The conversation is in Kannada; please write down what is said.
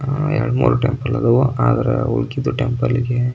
ಎರಡು ಮೂರು ಟೆಂಪಲ್ ಇದಾವು ಆದ್ರೆ ಊಳಿಕಿದು ಟೆಂಪಲ್ --